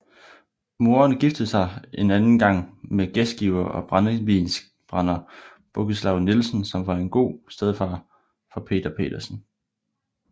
Moderen giftede sig anden gang med gæstgiver og brændevinsbrænder Bogislav Nielsen som var en god stedfar for Peter Petersen